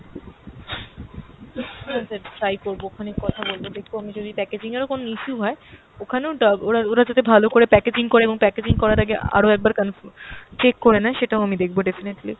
হ্যাঁ sir try করবো ওখানে কথা বলবো, দেখি আমি যদি packaging এরও কোনো issue হয় ওখানেও ডা~ ওরা ওরা যাতে ভালো করে packaging করে এবং packaging করার আগে আরো একবার confirm check করে নেই সেটাও আমি দেখবো definitely ।